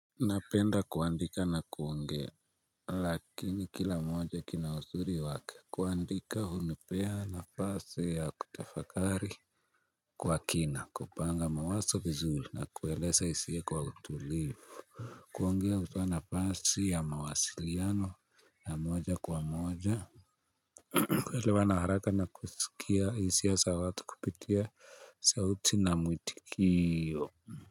Napenda kuandika na kuongea lakini kila moja kina uzuri wake kuandika humipea nafasi ya kutafakari Kwa kina kupanga mawazo vizuri na kueleza hisia kwa utulivu kuongea hunipa nafasi ya mawasiliano ya moja kwa moja kuelewa na haraka na kusikia hisia za watu kupitia sauti na mwitikio.